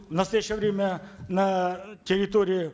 в настоящее время на территории